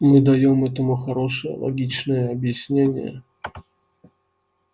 мы даём этому хорошее логичное объяснение